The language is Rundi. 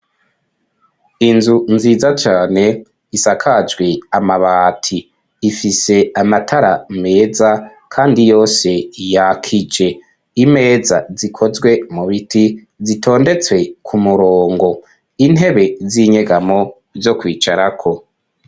Inzu nziza cane isakajwe amabati ifise amatara meza kandi yose yakije imeza zikozwe mu biti zitondetswe ku murongo intebe z'inyegamo zo kwicarako.